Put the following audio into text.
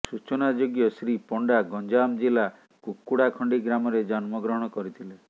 ସୂଚନାଯୋଗ୍ୟ ଶ୍ରୀ ପଣ୍ଡା ଗଞ୍ଜାମ ଜିଲ୍ଲା କୁକୁଡ଼ାଖଣ୍ଡି ଗ୍ରାମରେ ଜନ୍ମଗ୍ରହଣ କରିଥିଲେ